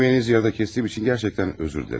Yeməyinizi yerdə kəsdiyim üçün gərçəktən üzr diləyirəm.